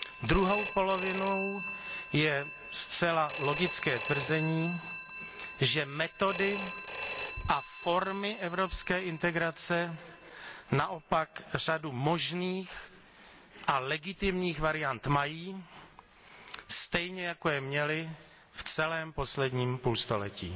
Druhou polovinou je zcela logické tvrzení, že metody a formy evropské integrace naopak řadu možných a legitimních variant mají, stejně jako je měly v celém posledním půlstoletí.